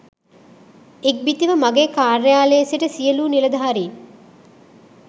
ඉක්බිතිව මගේ කාර්යාලයේ සිට සියලූ නිලධාරින්